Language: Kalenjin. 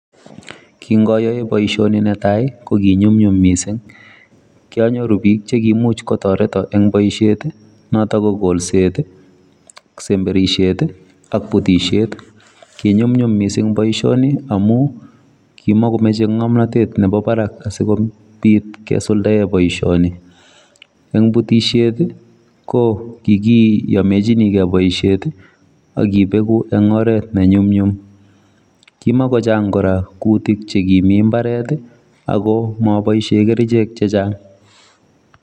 Kingayoe boishioni netai ko ki nyumnyum mising, kyanyoru biik chekiimuch kotoreto eng boishet, noto ko kolset, semberishet ak putishet. Kinyumnyum misimg boishoni amu kimakomeche ng'omnatet nepo barak asikobit kesuldae boishoni. Eng putishet, ko kikiyomechinigei boishet akipeku eng oret nenyumnyum. Kimakochang kora kutik chekimi mbaret ako maboishe kerichek chechang.